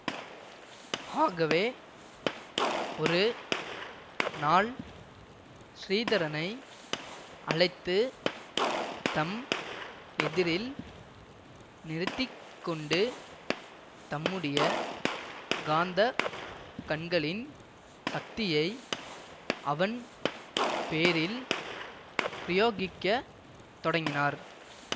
ஆகவே ஒரு நாள் ஸ்ரீதரனை அழைத்துத் தம் எதிரில் நிறுத்தி கொண்டு தம்முடைய காந்தக் கண்களின் சக்தியை அவன் பேரில் பிரயோகிக்க தொடங்கினார்